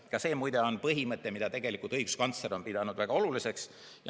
Ka see, muide, on põhimõte, mida õiguskantsler on pidanud väga oluliseks.